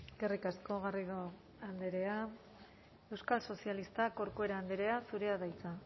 eskerrik asko garrido andrea euskal sozialistak corcuera andrea zurea da hitza